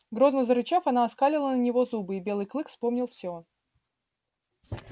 грозно зарычав она оскалила на него зубы и белый клык вспомнил все